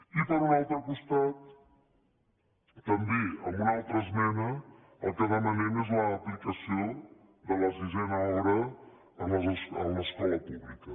i per un altre costat també amb una altra esmena el que demanem és l’aplicació de la sisena hora a l’escola pública